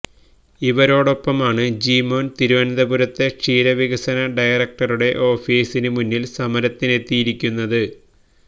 ഇവരോടൊപ്പമാണ് ജീമോന് തിരുവനന്തപുരത്തെ ക്ഷീരവികസന ഡയറക്ടറുടെ ഓഫീസിന് മുന്നില് സമരത്തിനെത്തിയിരിക്കുന്നത്